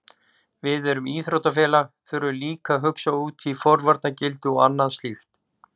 Við sem íþróttafélag þurfum líka að hugsa út í forvarnargildi og annað slíkt.